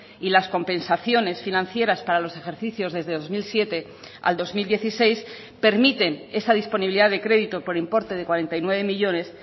y las compensaciones financieras para los ejercicios desde dos mil siete al dos mil dieciséis permiten esa disponibilidad de crédito por importe de cuarenta y nueve millónes